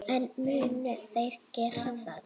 En munu þeir gera það?